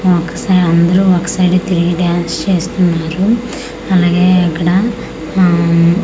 ఆ ఒక సైడ్ అందరూ ఒక సైడే తిరిగి డాన్స్ చేస్తున్నారు అలాగే ఇక్కడ ఆ--